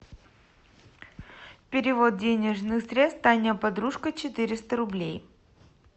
перевод денежных средств таня подружка четыреста рублей